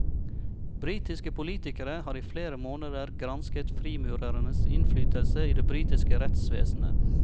Britiske politikere har i flere måneder gransket frimurernes innflytelse i det britiske rettsvesenet.